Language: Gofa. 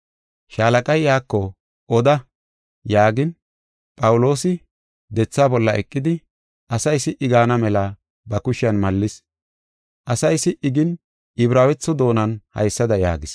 Shaalaqay iyako, “Oda” yaagin Phawuloosi dethaa bolla eqidi, asay si77i gaana mela ba kushiyan mallis. Asay si77i gin Ibraawetho doonan haysada yaagis: